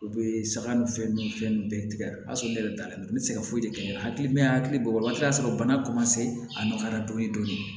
U bɛ saga ni fɛn ninnu ni fɛn ninnu bɛɛ tigɛ a b'a sɔrɔ ne yɛrɛ dalen don ne tɛ se ka foyi de kɛ n'a ye hakili bɔ waati y'a sɔrɔ bana a nɔgɔyara dɔɔni dɔɔni